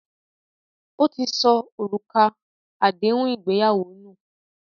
Ó ti sọ òrùka nù àdéhùn ìgbéyàwó